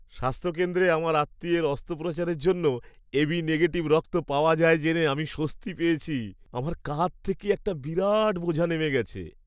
স্বাস্থ্য কেন্দ্রে আমার আত্মীয়ের অস্ত্রোপচারের জন্য এবি নেগেটিভ রক্ত পাওয়া যায় জেনে আমি স্বস্তি পেয়েছি। আমার কাঁধ থেকে একটা বিরাট বোঝা নেমে গেছে।